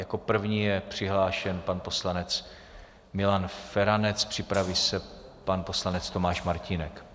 Jako první je přihlášen pan poslanec Milan Feranec, připraví se pan poslanec Tomáš Martínek.